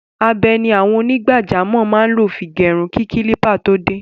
Abẹ ni àwọn onígbàjamọ̀ máa ń lò fi gẹrun kí kílípà tó dé.